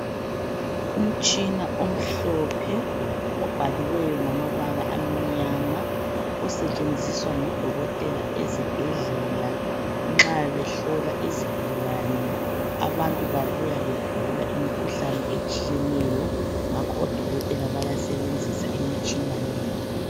Umtshina omhlophe obhaliweyo ngamabala amnyama osetshenziswa ngodokotela ezibhedlela nxa behlola izigulane abantu babuya begula imikhuhlane etshiyeneyo ngakho odokotela bayasebenzisa imitshina le.